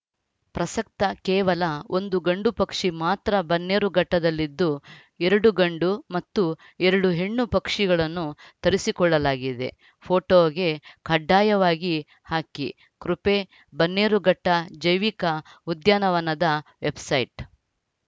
ಪ್ರಸಕ್ತ ಕೇವಲ ಒಂದು ಗಂಡು ಪಕ್ಷಿ ಮಾತ್ರ ಬನ್ನೇರುಘಟ್ಟದಲ್ಲಿದ್ದು ಎರಡು ಗಂಡು ಮತ್ತು ಎರಡು ಹೆಣ್ಣು ಪಕ್ಷಿಗಳನ್ನು ತರಿಸಿಕೊಳ್ಳಲಾಗಿದೆ ಫೋಟಓಗೆ ಕಡ್ಡಾಯವಾಗಿ ಹಾಕಿಕೃಪೆ ಬನ್ನೇರು ಘಟ್ಟಜೈವಿಕ ಉದ್ಯಾನವನದ ವೆಬ್‌ಸೈಟ್‌